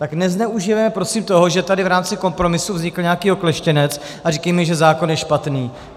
Tak nezneužívejme prosím toho, že tady v rámci kompromisu vznikl nějaký okleštěnec a neříkejme, že zákon je špatný.